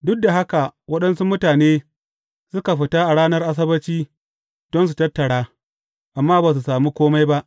Duk da haka waɗansu mutane suka fita a ranar Asabbaci don su tattara, amma ba su sami kome ba.